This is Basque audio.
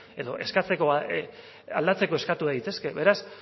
edo aldatzeko eskatu daitezke beraz